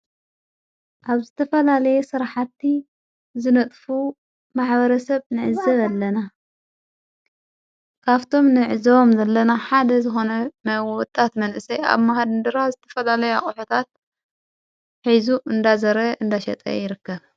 ኣብ ዝተፈላለየ ሥራሓቲ ዝነጥፉ ማኅበረ ሰብ ንእዘ ዘለና ካፍቶም ንዕዘዎም ዘለና ሓደ ዘኾነ መይወወጣት መንእሰይ ኣብ ማሃድንድራ ዝተፈላለ ኣቝኅታት ኂዙ እንዳዘረ እንዳሸጠ ይርከብ።